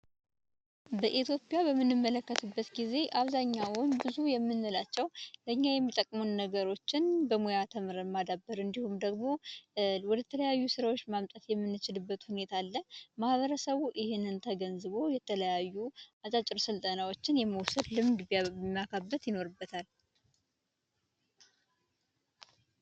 አብዛኛው በኢትዮጵያ በምንመለከትበት ጊዜ ብዙ የምንላቸው ለኛ የሚጠቅሙ ነገሮችን በሙያ ተምረን ማዳበር እንዲሁም ደግሞ ወደ ተለያዩ ስራ ማምጣት የምንችልበት ሁኔታ አለ ማህበረሰቡ ይሄንን ተገንዝቦ የተለያዩ አጫጭር ስልጠናዎችን የመውሰድ ልምድ ማካበት ይኖርበታል።